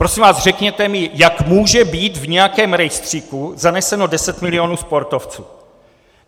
Prosím vás, řekněte mi, jak může být v nějakém rejstříku zaneseno 10 milionů sportovců.